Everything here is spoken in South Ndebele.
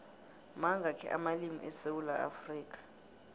mangakhi amalimu esewula afrikha